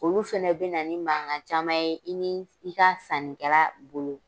Olu fɛnɛ bɛna na ni mankan caman ye, i ni i ka sannikɛla bolo.